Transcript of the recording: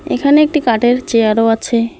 এখানে একটি কাঠের চেয়ারও আছে।